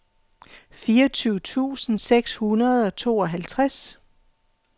fireogtyve tusind seks hundrede og tooghalvtreds